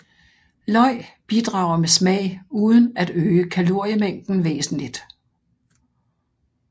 Løg bidrager med smag uden at øge kaloriemængden væsentligt